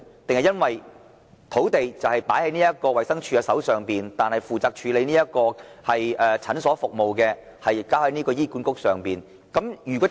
還是因為土地在衞生署手上，但負責處理診所服務的是醫院管理局呢？